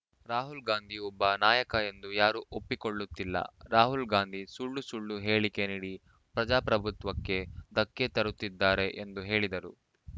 ರಾಹುಲ್‌ ಗಾಂಧಿ ಒಬ್ಬ ನಾಯಕ ಎಂದು ಯಾರೂ ಒಪ್ಪಿಕೊಳ್ಳುತ್ತಿಲ್ಲ ರಾಹುಲ್‌ ಗಾಂಧಿ ಸುಳ್ಳು ಸುಳ್ಳು ಹೇಳಿಕೆ ನೀಡಿ ಪ್ರಜಾಪ್ರಭುತ್ವಕ್ಕೆ ಧಕ್ಕೆ ತರುತ್ತಿದ್ದಾರೆ ಎಂದು ಹೇಳಿದರು